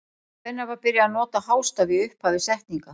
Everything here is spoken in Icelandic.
Hvenær var byrjað að nota hástafi í upphafi setninga?